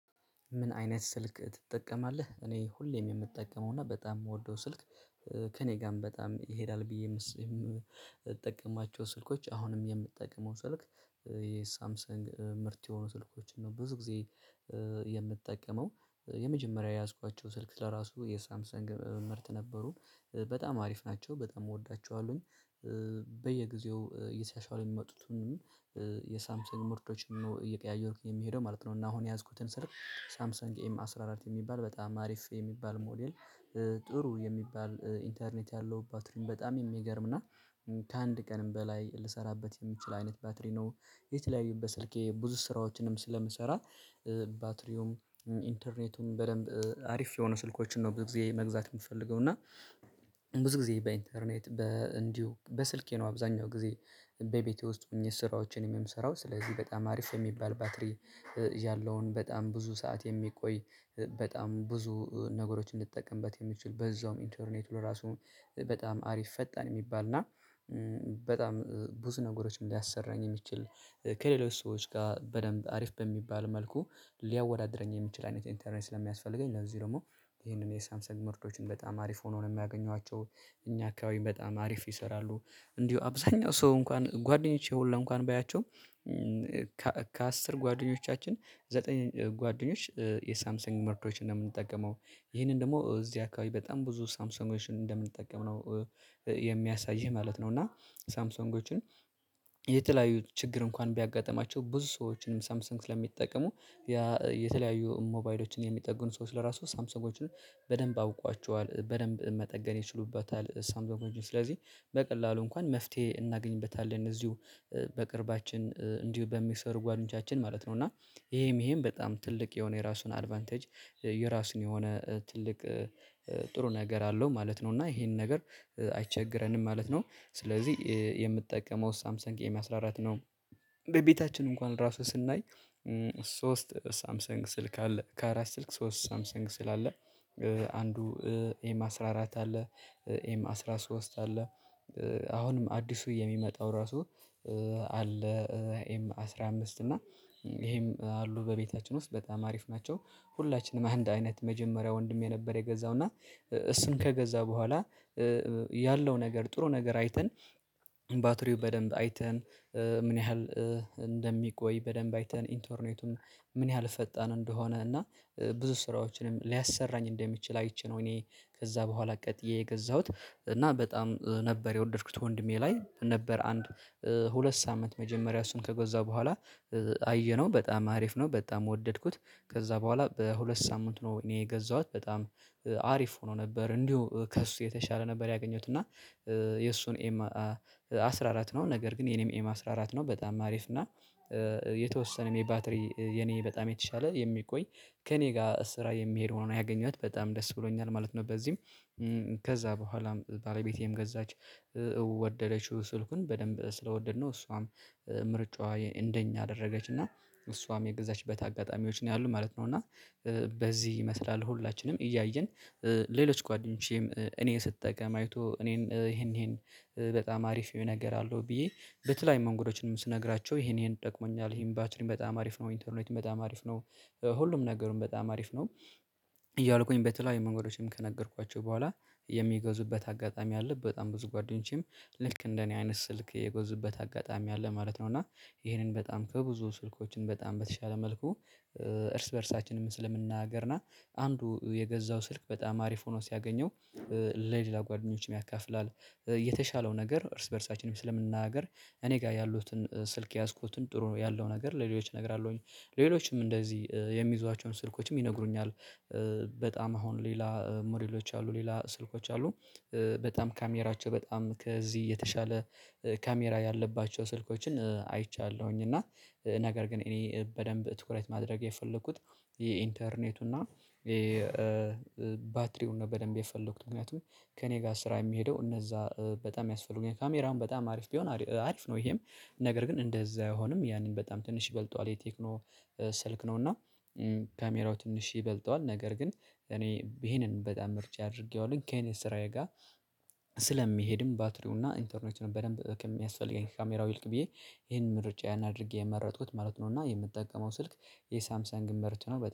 ምን አይነት ስልክ ትጠቀማለህ? እኔ ሁሌም የምጠቀመውና በጣም የምወደው ስልክ ከእኔ ጋርም በጣም ይሄዳል ብዬ የምጠቀማቸው ስልኮች አሁንም የምጠቀመው ስልክ የሳምሰንግ ምርት የሆኑ ስልኮችን ነው ብዙ ጊዜ። የምትጠቀመው የመጀመሪያ የያዝኳቸው ስልክ ለራሱ የሳምሰን ግ ምርት ነበሩ በጣም አሪፍ ናቸው በጣም እወዳቸዋለሁኝ። በየጊዜው እየተሻሻሉ የሚመጡትን የሳምሰንግ ምርቶችን ነው እየቀያየርኩኝ የሚሄደው ማለት ነው። እና አሁን የያዝኩትን ስልክ ሳምሰንግ ኤም አስራ አራት የሚባል በጣም አሪፍ የሚባል ሞዴል። ጥሩ የሚባል ኢንተርኔት ያለው ባትሪም በጣም የሚገርም እና ከአንድ ቀንም በላይ ልሰራበት የምችል አይነት ባትሪ ነው። የተለያዩበት ስልኬ ብዙ ስራዎችንም ስለምሰራ ባትሪውም ኢንተርኔቱም በደንብ አሪፍ የሆኑ ስልኮችን ነው ብዙ ጊዜ መግዛት የምፈልገው እና። ብዙ ጊዜ በኢንተርኔት በእንዲሁ በስልኬ ነው አብዛኛው ጊዜ በቤቴ ውስጥ ሆኜ ስራዎችን የምሰራው ስለዚህ በጣም አሪፍ የሚባል ባትሪ። ያለውን በጣም ብዙ ሰዓት የሚቆይ በጣም ብዙ ነገሮችን እንድጠቀምበት የሚችል በዛውም ኢንተርኔት ለራሱ በጣም አሪፍ ፈጣን የሚባል እና በጣም ብዙ ነገሮችን ሊያሰራኝ የሚችል። ከሌሎች ሰዎች ጋር በደንብ አሪፍ በሚባል መልኩ ሊያወዳድረኝ የሚችል አይነት ኢንተርኔት ለሚያስፈልገኝ ለዚህ ደግሞ ይሄንን የሳምሰንግ ምርቶችን በጣም አሪፍ ሆኖ ነው የሚያገኟቸው። እኛ አካባቢ በጣም አሪፍ ይሰራሉ። እንዲሁ አብዛኛው ሰው እንኳን ጓደኞቼ ሁላ እንኳን ባያቸው። ከአስር ጓደኞቻችን ዘጠኝ ጓደኞች የሳምሰንግ ምርቶችን አምንጠቀመው ይሄንን ደግሞ እዚህ አካባቢ በጣም ብዙ ሳምሰንጎችን እንደምንጠቀም ነው። የሚያሳይህ ማለት ነው። እና ሳምሰንጎችን የተለያዩ ችግር እንኳን ቢያጋጥማቸው ብዙ ሰዎችንም ሳምሰንግ ስለሚጠቀሙ። የተለያዩ ሞባይሎችን የሚጠግኑ ሰዎች ለራሱ ሳምሰንጎችን በደንብ አውቋቸዋል በደንብ መጠገን ይችሉበታል ሳምሰንጎችን ስለዚህ። በቀላሉ እንኳን መፍትሄ እናገኝበታለን እዚሁ በቅርባችን እንዲሁ በሚሰሩ ጓደኞቻችን ማለት ነው። እና ይሄም ይሄም በጣም ትልቅ የሆነ የራሱን አድቫንቴጅ የራሱን የሆነ ትልቅ ጥሩ ነገር አለው ማለት ነው። እና ይሄንን ነገር አይቸግረንም ማለት ነው። ስለዚህ የምጠቀመው ሳምሰንግ ኤም አስራአራት ነው። ቤታችን እንኳን ራሱ ስናይ ሶስት ሳምሰንግ ስልክ አለ ከአራት ስልክ ሶስት ሳምሰንግ ስልክ ስላለ አንዱ ኤም አስራ አራት አለ። ኤም አስራ ሶስት አለ አሁንም አዲሱ የሚመጣው ራሱ አለ። ኤም አስራ አምስት እና ይሄም አሉ በቤታችን ውስጥ በጣም አሪፍ ናቸው። ሁላችንም አንድ አይነት መጀመሪያ ወንድሜ ነበር የገዛው እና እሱን ከገዛ በኋላ ያለው ነገር ጥሩ ነገር አይተን ባትሪው በደንብ አይተን ምን ያህል እንደሚቆይ በደንብ አይተን ኢንቶርኔቱን ምን ያህል ፈጣን እንደሆነ እና ብዙ ስራዎችንም ሊያሰራኝ እንደሚችል አይቼ ነው። እኔ ከዛ በኋላ ቀጥዬ የገዛሁት እና በጣም ነበር የወደድኩት ወንድሜ ላይ ነበር አንድ ሁለት ሳምንት መጀመሪያ እሱን ከገዛ በኋላ አየነው በጣም አሪፍ ነው በጣም ወደድኩት። ከዛ በኋላ በሁለት ሳምንት ነው እኔ የገዛኋት በጣም አሪፍ ሆኖ ነበር እንዲሁ ከእሱ የተሻለ ነበር ያገኘሁት እና። የእሱን ኤም አስራ አራት ነው ነገር ግን የኔም ኤም አስራ አራት ነው በጣም አሪፍ እና የተወሰነ የባትሪ የኔ በጣም የተሻለ የሚቆይ ከኔ ጋር ስራ የሚሄድ ሆኖ ያገኘሁት በጣም ደስ ብሎኛል ማለት ነው። በዚህም ከዛ በኋላም ባለቤቴም ገዛች። ወደደችው ስልኩን በደንብ ስለወደድነው እሷም ምርጫዋ እንደኛ አደረገች እና እሷም የገዛችበት አጋጣሚዎች ነው ያሉት ማለት ነው። እና በዚህ ይመስላል ሁላችንም እያየን ሌሎች ጓደኞቼም እኔ ስትጠቀም አይቶ እኔን ይሄን ይሄን በጣም አሪፍ ነገር አለው ብዬ በተለይ መንገዶችንም ስነግራቸው ይሄን ይሄን ደግሞኛል ይሄን ባትሪም በጣም አሪፍ ነው ኢንተርኔትም በጣም አሪፍ ነው። ሁሉም ነገሩን በጣም አሪፍ ነው። እያልኩኝ በተለያዩ መንገዶችም ከነገርኳቸው በኋላ የሚገዙበት አጋጣሚ አለ በጣም ብዙ ጓደኞቼም ልክ እንደ እኔ አይነት ስልክ የገዙበት አጋጣሚ አለ ማለት ነው። እና ይሄንን በጣም ከብዙ ስልኮችን በጣም በተሻለ መልኩ እርስ በእርሳችንም ስለምንነገጋር ና አንዱ የገዛው ስልክ በጣም አሪፍ ሆኖ ሲያገኘው ለሌላ ጓደኞችም ያካፍላል። የተሻለው ነገር እርስ በእርሳችንም ስለምናገር እኔ ጋር ያሉትን ስልክ የያዝኩትን ጥሩ ያለው ነገር ለሌሎች እነግራለሁኝ። ሌሎችም እንደዚህ የሚይዟቸውን ስልኮችም ይነግሩኛል። በጣም አሁን ሌላ ሞዴሎች አሉ ሌላ ስልኮች አሉ። በጣም ካሜራቸው በጣም ከዚህ የተሻለ ካሜራ ያለባቸው ስልኮችን አይቻለሁኝ እና። ነገር ግን እኔ በደንብ ትኩረት ማድረግ የፈለኩት የኢንተርኔቱና የባትሪውን በደንብ የፈለኩት ምክንያቱም ከእኔ ጋር ስራ የሚሄደው እነዛ በጣም ያስፈልጉኛል ካሜራውን በጣም አሪፍ ቢሆን አሪፍ ነው። ይሄም ነገር ግን እንደዛ አይሆንም ያንን በጣም ትንሽ ይበልጠዋል የቴክኖ ስልክ ነው እና። ካሜራው ትንሽ ይበልጠዋል ነገር ግን እኔ ይሄንን በጣም ምርጫ አድርጌዋለሁ ከእኔ ስራዬ ጋር ስለሚሄድም ባትሪውና ኢንተርኔቱ በደንብ ከሚያስፈልገኝ ካሜራው ይልቅ ብዬ ይሄንን ምርጫ ያን አድርጌ የመረጥኩት ማለት ነው። እና የምጠቀመው ስልክ የሳምሰንግ ምርት ነው።